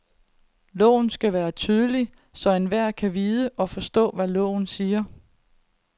Loven skal være tydelig, så enhver kan vide og forstå, hvad loven siger.